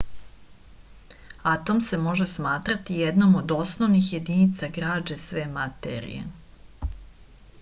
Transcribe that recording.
atom se može smatrati jednom od osnovnih jedinica građe sve materije